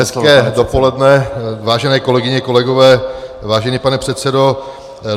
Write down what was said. Hezké dopoledne, vážené kolegyně, kolegové, vážený pane předsedo.